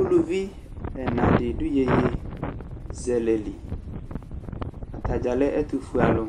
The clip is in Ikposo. Uluvi ɛna dɩ dʋ yeyezɛlɛ li Ata dza lɛ ɛtʋfuealʋ